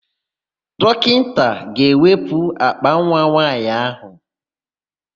Dọkịnta ga-ewepụ àkpànwa nwaanyị áhụ̀.